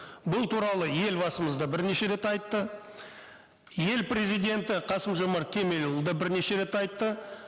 бұл туралы елбасымыз да бірнеше рет айтты ел президенті қасым жомарт кемелұлы да бірнеше рет айтты